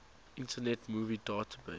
internet movie database